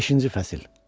Beşinci fəsil.